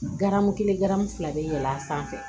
Garamu kelen garimu fila bɛ yɛlɛ a sanfɛ